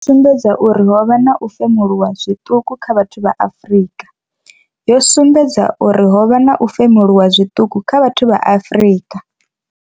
Sumbedza uri ho vha na u femuluwa zwiṱuku kha vhathu vha Afrika. Yo sumbedza uri ho vha na u femuluwa zwiṱuku kha vhathu vha Afrika.